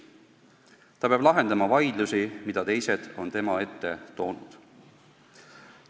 Ta peab lahendama vaidlusi, mida teised on tema ette toonud.